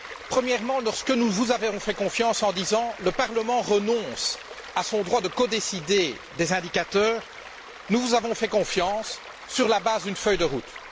Premièrement, lorsque nous vous avons fait confiance en disant Le Parlement renonce à son droit de codécider des indicateurs, nous vous avons fait confiance sur la base d'une feuille de route.